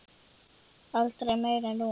Aldrei meira en núna.